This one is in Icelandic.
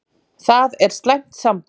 Það er slæmt samband.